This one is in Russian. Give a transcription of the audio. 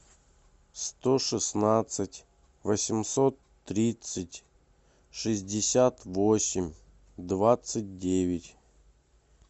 сто шестнадцать восемьсот тридцать шестьдесят восемь двадцать девять